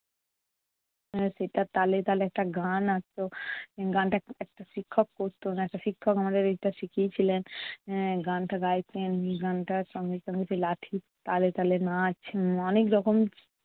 এর সেটার তালে তালে একটা গান আসত। গানটা এক~ একটা শিক্ষক করতো। একটা শিক্ষক আমাদের এটা শিখিয়ে ছিলেন। এর গানটা গাইতেন গানটার সঙ্গে সঙ্গে সেই লাঠির তালে তালে নাচ উম অনেক রকম